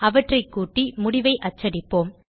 அவற்றைக் கூட்டி முடிவை அச்சடிப்போம்